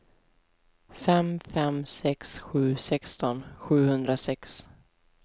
fem fem sex sju sexton sjuhundrasex